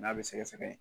N'a bɛ sɛgɛsɛgɛ